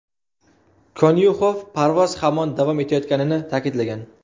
Konyuxov parvoz hamon davom etayotganini ta’kidlagan.